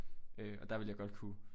Øh og der ville jeg godt kunne